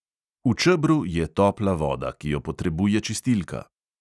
V čebru je topla voda, ki jo potrebuje čistilka.